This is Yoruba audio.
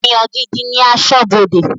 Èèyàn gidi ní aṣọ́bọdè